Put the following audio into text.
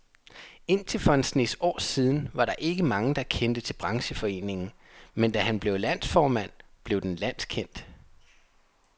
Indtil for en snes år siden var der ikke mange, der kendte til brancheforeningen, men da han blev landsformand, blev den landskendt.